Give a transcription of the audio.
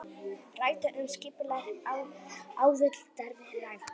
Ræddu um skipulag aðildarviðræðna